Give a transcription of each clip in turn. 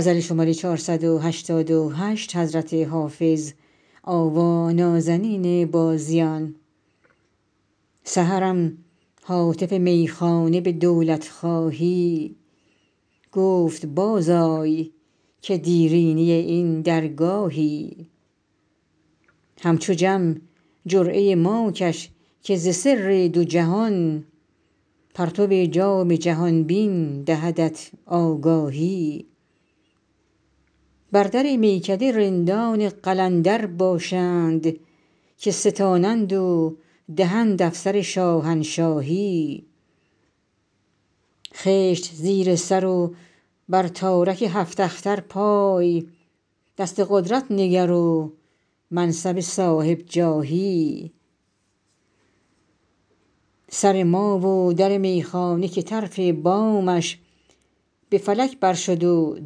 سحرم هاتف میخانه به دولت خواهی گفت باز آی که دیرینه این درگاهی همچو جم جرعه ما کش که ز سر دو جهان پرتو جام جهان بین دهدت آگاهی بر در میکده رندان قلندر باشند که ستانند و دهند افسر شاهنشاهی خشت زیر سر و بر تارک هفت اختر پای دست قدرت نگر و منصب صاحب جاهی سر ما و در میخانه که طرف بامش به فلک بر شد و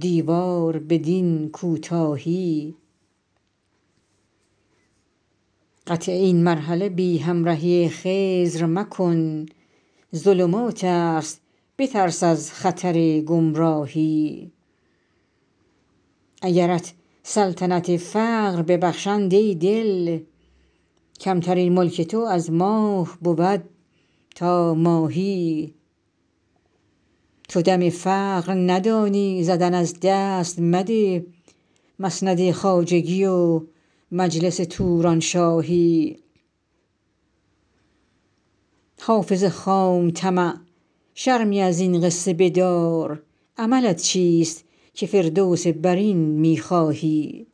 دیوار بدین کوتاهی قطع این مرحله بی همرهی خضر مکن ظلمات است بترس از خطر گمراهی اگرت سلطنت فقر ببخشند ای دل کمترین ملک تو از ماه بود تا ماهی تو دم فقر ندانی زدن از دست مده مسند خواجگی و مجلس تورانشاهی حافظ خام طمع شرمی از این قصه بدار عملت چیست که فردوس برین می خواهی